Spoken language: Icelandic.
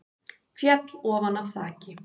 Féll ofan af þaki